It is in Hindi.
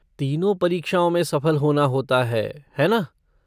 तीनों परीक्षाओं में सफल होना होता है, है ना?